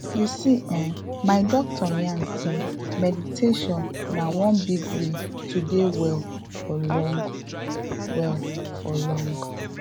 you see eh my doctor yarn sey meditation na one big way to dey well for long well for long